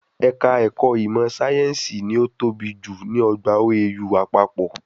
Ẹ̀ka ẹ̀kọ́ ìmọ̀ síáyẹ́nsì ni o tọ́ bi jù ní ọgbà OAU àpapọ̀